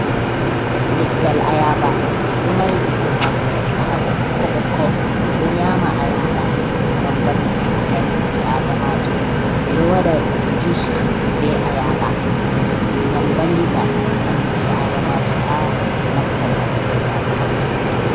Leggal Ayaba, ɗon Mari lise hako hako ɓokko ɓokko, ɓe.ɗo nyama Ayaba ngam vallutugo ɓandu ɓi Adamajo, ɓe ɗo waɗa jus be Ayaba ngam Vallita ɓandu ɓi adamajo ha nafugo ɓandu ɓi Adamajo.